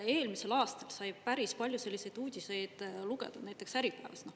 Eelmisel aastal sai päris palju selliseid uudiseid lugeda näiteks Äripäevast.